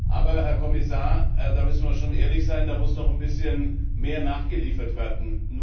Aber, Herr Kommissar, da müssen wir schon ehrlich sein, da muss noch ein bisschen mehr nachgeliefert werden.